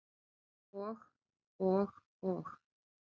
Og, og og.